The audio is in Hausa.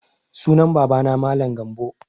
Sunan baba na Mallam Gambo